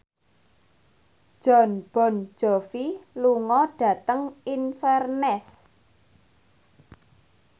Jon Bon Jovi lunga dhateng Inverness